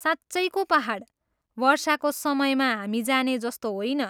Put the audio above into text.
साँच्चैको पाहाड, वर्षाको समयमा हामी जाने जस्तो होइन।